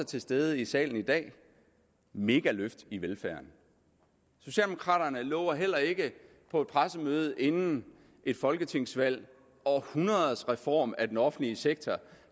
til stede i salen i dag megaløft i velfærden socialdemokraterne lover heller ikke på et pressemøde inden et folketingsvalg århundredets reform af den offentlige sektor